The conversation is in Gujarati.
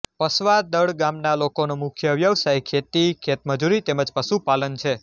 પસવાદળ ગામના લોકોનો મુખ્ય વ્યવસાય ખેતી ખેતમજૂરી તેમ જ પશુપાલન છે